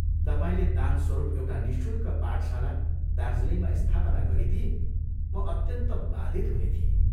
तपाईंले दानस्वरूप एउटा निःशुल्क पाठशाला दार्जीलिङमा स्थापना गरिदिए म अत्यन्त बाधित हुने थिएँ।